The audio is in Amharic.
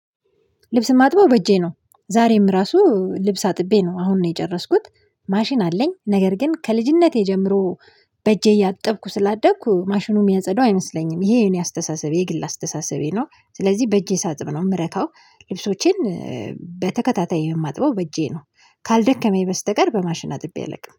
ልብስ ማጥበው በእጄ ነው ዛሬም ራሱ ልብስ አጥቤ ነው አሁን ነው የጨረስኩት። ማሽን አለኝ ነገር ግን ከልጅነቴ ጀምሮ በእጄ እያጠብኩ ስላደኩ ማሽኑ የሚያጸደው አይመስለኝም ይሄ የኔ አስተሳሰቤ የግል አስተሳሰቤ ነው። ስለዚህ በእጄ ሳጥብ ነው የምረካው ልብሶቼን በተከታታይ የማጥበው በእጄ ነው። ካልደከመኝ በስተቀር በማሽን አጥቤ አላውቅም